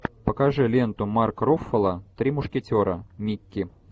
покажи ленту марк руффало три мушкетера микки